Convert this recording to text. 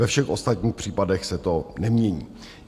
Ve všech ostatních případech se to nemění.